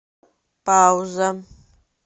пауза